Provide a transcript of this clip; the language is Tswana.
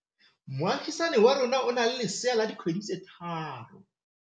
Moagisane wa rona o na le lesea la dikgwedi tse tlhano.